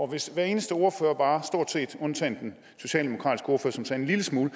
hvis hver eneste ordfører stort set undtaget den socialdemokratiske ordfører som sagde en lille smule